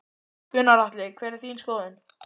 Gunnar Atli: Hver er þín skoðun?